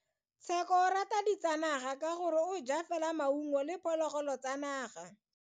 Tsheko o rata ditsanaga ka gore o ja fela maungo le diphologolo tsa naga.